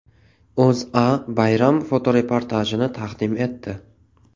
O‘zA bayram fotoreportajini taqdim etdi .